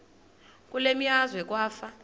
kule meazwe kwafa